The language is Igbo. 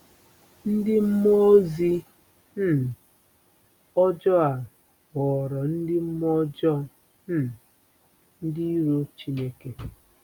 Ndị mmụọ ozi um ọjọọ a ghọrọ ndị mmụọ ọjọọ um, ndị iro Chineke.